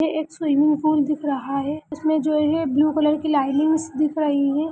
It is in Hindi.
एक स्विमिंग पूल दिख रहा है उसमे जो है ब्लू कलर की लाइटिंग दिख रही हैं|